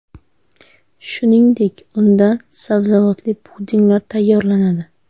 Shuningdek, undan sabzavotli pudinglar tayyorlanadi.